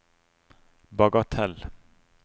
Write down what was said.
bagatell